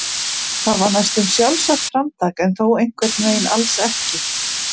Það var næstum sjálfsagt framtak en þó einhvern veginn alls ekki.